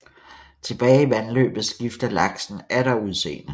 Tilbage i vandløbet skifter laksen atter udseende